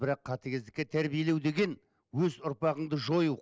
бірақ қатыгездікке тәрбиелеу деген өз ұрпағыңды жою